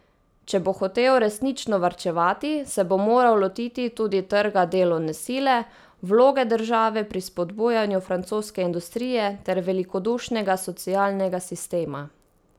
Če bo hotel resnično varčevati, se bo moral lotiti tudi trga delovne sile, vloge države pri spodbujanju francoske industrije ter velikodušnega socialnega sistema.